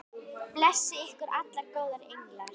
Blessi ykkur allir góðir englar.